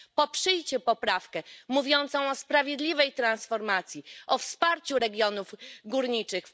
Proszę poprzeć poprawkę mówiącą o sprawiedliwej transformacji i o wsparciu regionów górniczych.